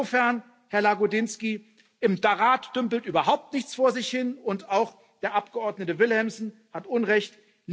Insofern, Herr Lagodinsky, im Rat dümpelt überhaupt nichts vor sich hin, und auch der Abgeordnete Villumsen hat Unrecht.